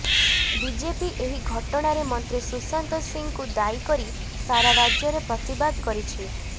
BJP ଏହି ଘଟଣାରେ ମନ୍ତ୍ରୀ ସୁଶାନ୍ତ ସିଂଙ୍କୁ ଦାୟୀ କରି ସାରା ରାଜ୍ୟରେ ପ୍ରତିବାଦ କରିଛି